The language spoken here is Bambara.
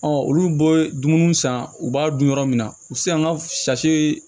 olu bɔ dumuni san u b'a dun yɔrɔ min na u tɛ se an ka